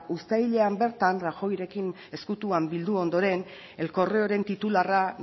uztailean bertan rajoyrekin ezkutuan bildu ondoren el correoren titularra